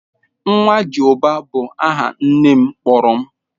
"Ńwajịubá" bu aha nne m kpọrọ m